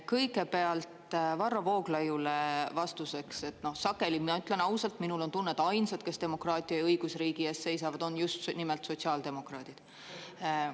Kõigepealt Varro Vooglaiule vastuseks: sageli, mina ütlen ausalt, minul on tunne, et ainsad, kes demokraatia ja õigusriigi ees seisavad, on just nimelt sotsiaaldemokraadid.